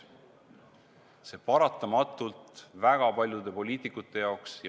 See paratamatult ajab väga paljude poliitikute jaoks asja isiklikuks.